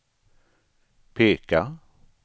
peka